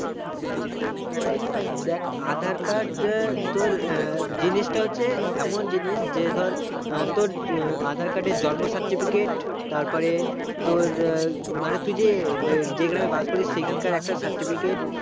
দেখ aadhar card এ তোর জিনিসটা হচ্ছে এমন জিনিস যে ধর আহ তোর aadhar card এর জন্ম certificate তারপরে তোর মানে তুই যে ওইযে গ্রামে বাস করিস সেখান কার একটা certificate